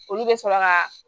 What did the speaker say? Olu bɛ sɔrɔ ka